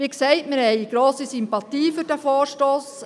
Wie gesagt, wir haben grosse Sympathie für diesen Vorstoss.